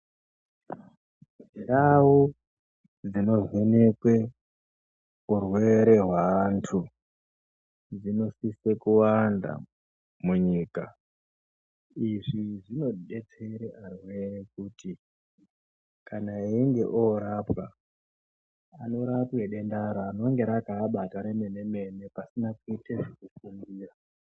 Ndau dzinovhenekwe urwere hweantu dzinosise kuwanda munyika. Izvi zvinodetsere arwere kuti kana einge orapwa anorapwa denda rinenge rakaabata remene mene pasina kuita zvekufungira.